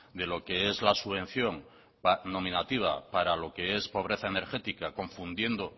de lo que es la subvención nominativa para lo que es pobreza energética confundiendo